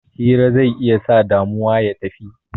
Hira zai sa damuwa ya tafi